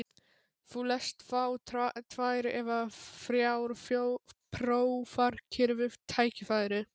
Þú lest þá tvær eða þrjár prófarkir við tækifæri.